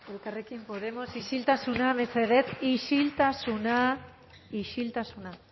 elkarrekin podemos isiltasuna mesedez isiltasuna isiltasuna